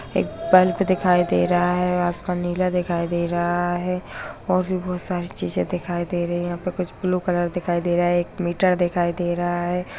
एक बल्ब दिखाई दे रहा है आसमान नीला दिखाई दे रहा है और भी बहुत सारी चीजे दिखाई दे रही है यहाँ पे कुछ ब्लू कलर दिखाई दे रहा है एक मीटर दिखाई दे रहा है।